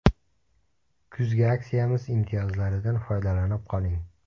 Kuzgi aksiyamiz imtiyozlaridan foydalanib qoling!.